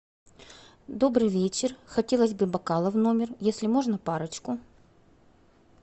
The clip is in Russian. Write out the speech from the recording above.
добрый вечер хотелось бы бокалы в номер если можно парочку